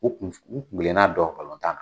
U kun u kunkilenna dɔn tan.